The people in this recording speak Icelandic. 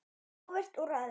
Óvirkt úrræði?